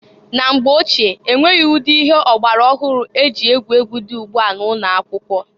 Na mgbe ochie, enweghị ụdị ihe ọgbara ọhụrụ e ji egwu egwu di ugbua na ụnọ akwụkwọ.